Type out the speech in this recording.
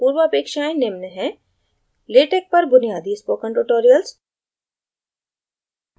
पूर्वापेक्षायें निम्न हैं – latex पर बुनियादी spoken tutorials